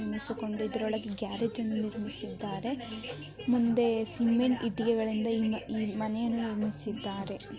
ಎಣಿಸಿಕೊಂಡಿ ಇದ್ರೊಳಗೆ ಗ್ಯಾರೇಜ್ಅನ್ನ ನಿರ್ಮಿಸಿದ್ದಾರೆ ಮುಂದೆ ಸಿಮೆಂಟ್ ಇಟ್ಟಿಗೆಗಳಿಂದ ಈ ಮನೆಯನ್ನು ನಿರ್ಮಿಸಿದ್ದಾರೆ.